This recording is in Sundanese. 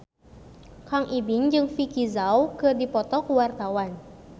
Kang Ibing jeung Vicki Zao keur dipoto ku wartawan